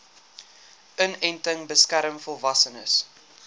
inenting beskerm volwassenes